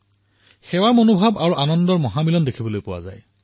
সেৱাভাৱ আৰু আনন্দভাৱৰ সুন্দৰ মিলন প্ৰত্যক্ষিত হয়